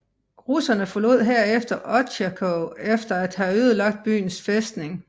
Russerne forlod herefter Otjakov efter at havde ødelagt byens fæstning